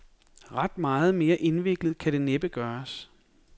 Ret meget mere indviklet kan det næppe gøres.